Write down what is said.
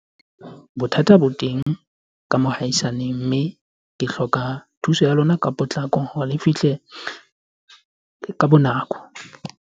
Bothata bo teng ka mohaisane mme ke hloka thuso ya lona ka potlako hore le fihle ka nako.